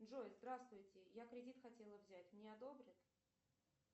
джой здравствуйте я кредит хотела взять мне одобрят